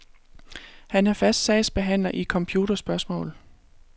Han er fast sagsbehandler i computerspørgsmål.